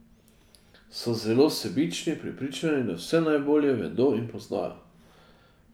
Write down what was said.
So zelo sebični, prepričani, da vse najbolje vedo in poznajo.